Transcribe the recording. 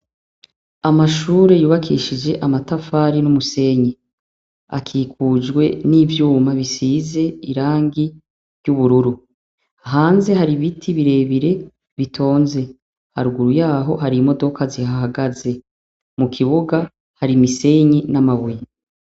Amashure yubakishije amatafari n'umusenyi. Akikujwe n'ivyuma bisize irangi ry'ubururu. Hanze hari ibiti birebire bitonze. Haruguru yaho hari imodoka zihahagaze. Mukibuga hari imisenyi n'amabuye.